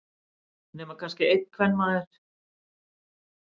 Nema kannski einn kvenmaður.